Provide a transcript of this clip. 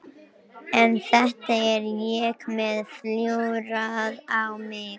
En þetta er ég með flúrað á mig.